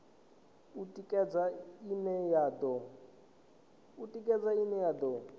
u tikedza ine ya do